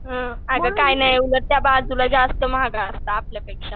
हं अगं काय नाही उलट त्याबाजूला जास्त महाग असतं आपल्यापेक्षा.